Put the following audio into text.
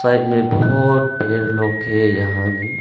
Side में बहोत ढ़ेर लोग है यहां में।